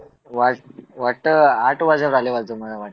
वाट वाटतं आठ वाजत आले असं मला वाटतं